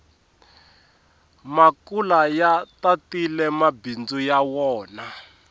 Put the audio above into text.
makula ya tatile mabindzu ya wona